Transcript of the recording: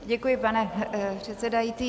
Děkuji, pane předsedající.